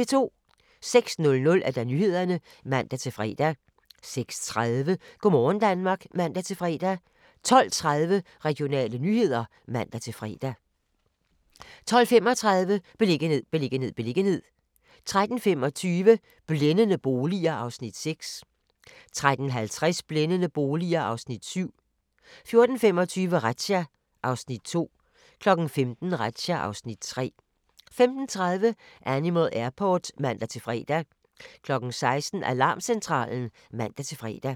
06:00: Nyhederne (man-fre) 06:30: Go' morgen Danmark (man-fre) 12:30: Regionale nyheder (man-fre) 12:35: Beliggenhed, beliggenhed, beliggenhed 13:25: Blændende boliger (Afs. 6) 13:50: Blændende boliger (Afs. 7) 14:25: Razzia (Afs. 2) 15:00: Razzia (Afs. 3) 15:30: Animal Airport (man-fre) 16:00: Alarmcentralen (man-fre)